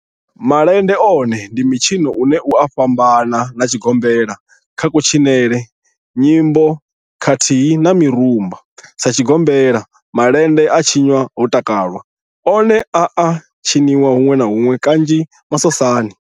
Malende one ndi mitshino une u a fhambana na tshigombela kha kutshinele, nyimbo khathihi na mirumba. Sa tshigombela, malende a tshinwa ho takalwa, one a a tshiniwa hunwe na hunwe kanzhi masosani.